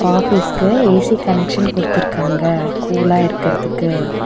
ஆஃபீஸ்க்கு A C connection குடுத்துருக்காங்க கூலா இருக்கறதுக்கு.